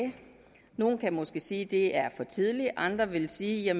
nogle kan måske sige at det er for tidligt og andre vil sige at